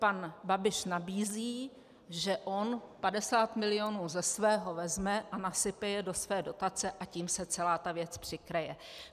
Pan Babiš nabízí, že on 50 mil. ze svého vezme a nasype je do své dotace, a tím se celá ta věc přikryje.